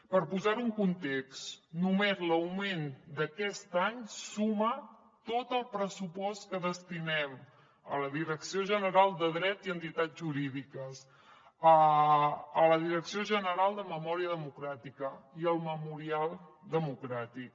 per posar ho en context només l’augment d’aquest any suma tot el pressupost que destinem a la direcció general de dret i entitats jurídiques a la direcció general de memòria democràtica i al memorial democràtic